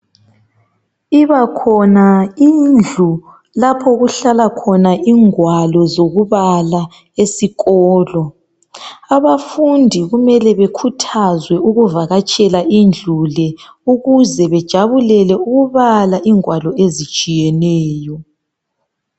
Ibakhona indlu lapho okuhlala khona ingwalo zokubala esikolo. Abafundi kumele bekhuthazwe ukuvakatshela indlu le ukuze bejabulele ukubala ingwalo ezitshiyeneyo.